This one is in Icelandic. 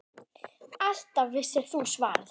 Alltaf vissir þú svarið.